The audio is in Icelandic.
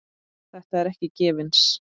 Þetta er ekki gefins.